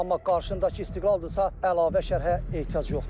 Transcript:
Amma qarşıdakı istiqlaldırsa əlavə şərhə ehtiyac yoxdur.